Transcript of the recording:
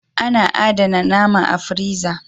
A na adana nama a firiza